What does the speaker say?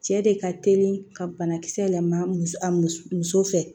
Cɛ de ka teli ka banakisɛ yɛlɛma muso fɛ